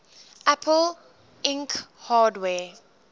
apple inc hardware